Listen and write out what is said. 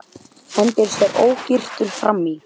Hendir sér ógyrtur fram í.